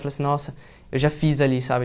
Falei assim, nossa, eu já fiz ali, sabe?